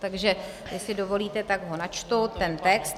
Takže jestli dovolíte, tak ho načtu ten text.